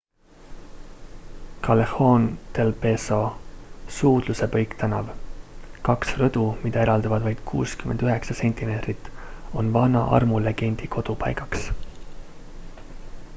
callejon del beso suudluse põiktänav. kaks rõdu mida eraldavad vaid 69 sentimeetrit on vana armulegendi kodupaigaks